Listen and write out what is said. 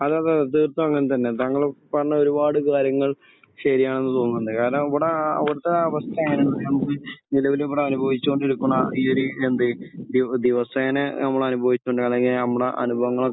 അതെ. അതെ. അതിപ്പോൾ അങ്ങനെ തന്നെയാണ്. താങ്കൾ പറഞ്ഞ ഒരുപാട് കാര്യങ്ങൾ ശരിയാണെന്ന് തോന്നുന്നുണ്ട്. കാരണം അവിടെ അവിടുത്തെ അവസ്ഥ എങ്ങനെയാണെന്ന് വെച്ചാൽ നമുക്ക് നിലവിൽ ഇവിടെ അനുഭവിച്ചുകൊണ്ട് ഇരിക്കുന്ന ഈ ഒരു എന്ത് ദിവസേന നമ്മൾ അനുഭവിക്കുകയാണെങ്കിൽ നമ്മുടെ അനുഭവങ്ങൾ ഒക്കെ